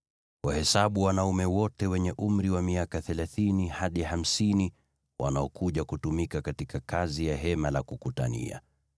Wahesabu wanaume wote wenye umri wa miaka thelathini hadi hamsini wanaokuja kutumika katika kazi ya Hema la Kukutania.